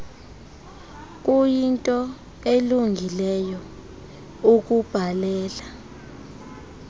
kuyinto elungileyo ukubhalela